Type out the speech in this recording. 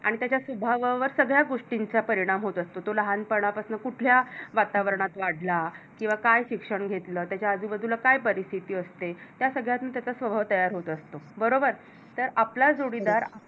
आणि त्याच्या स्वभावावर सगळ्या गोष्टींचा परिणाम असतो तो लहानपणापासून कुठल्या वातावरणात वाढला किंवा काय शिक्षण घेतलं त्याच्या आजूबाजूला काय परिस्थिती असते या सगळ्यातून त्याचा स्वभाव तयार होत असतो. बरोबर? तर आपला जोडीदार